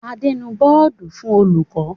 Adé nu oodua fún olùkọ́.